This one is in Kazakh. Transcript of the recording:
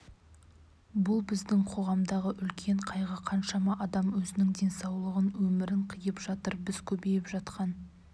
бұл біздің қоғамдағы үлкен қайғы қаншама адам өзінің денсаулығын өмірін қиып жатыр біз көбейіп жатқан